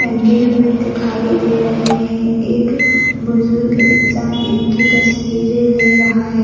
नंगे हुए दिखाई दे रहे हैं एक बुजुर्ग इंसान उनकी तस्वीरे ले रहा है।